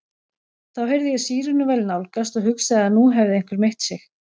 Þá heyrði ég sírenuvæl nálgast og hugsaði að nú hefði einhver meitt sig.